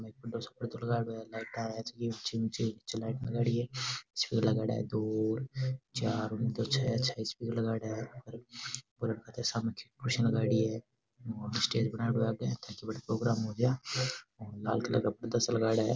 Stage बनायेडा है ताकि बठ प्रोग्राम हो जा और लाल कलर का पर्दा सा लगाइडा है।